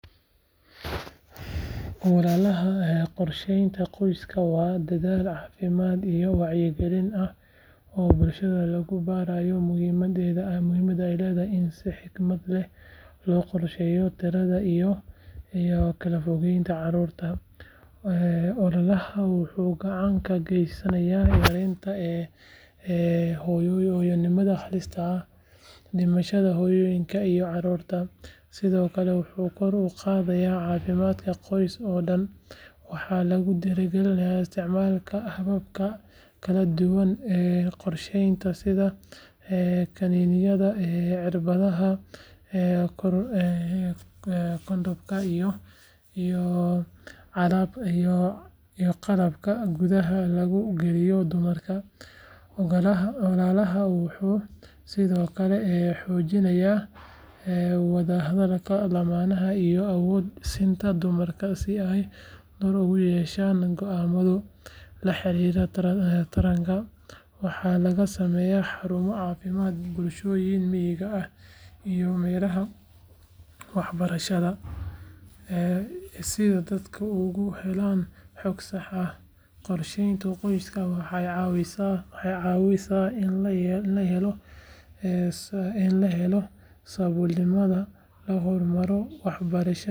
Marka aan arko ilmo la siinayo tallaalka afka laga qaato waxaan markiiba ka fikiraa muhiimadda tallaalkaas u leeyahay nolosha ilmaha iyo bulshada guud ahaan. Tallaalka afka laga qaato sida tallaalka dabaysha wuxuu ka hortagaa cudurro khatar ah oo keeni kara naafo ama dhimasho haddii aan la tallaalin. Waa tallaal sahlan oo aan xanuun lahayn taasoo ka dhigaysa mid si fudud loogu isticmaali karo carruurta yaryar. Waxaan xasuustaa dadaalka waalidiinta iyo shaqaalaha caafimaadka ee u taagan in ay badbaadiyaan jiilka cusub. Tallaalka afka laga qaato wuxuu tusaale u yahay sida tiknoolajiyadda iyo dadaalka bini’aadamka ay isu raaceen si loo helo xalal fudud oo wax ku ool ah. Markaan arko waxaan dareemaa farxad iyo rajo sababtoo ah waxaan ogahay in tallaalkaasi yahay difaac muhiim ah oo carruur badan u horseedi kara nolol caafimaad leh. Waxa uu sidoo kale xasuusin ii yahay muhiimadda wacyigelinta bulshada iyo ka qeybgalka.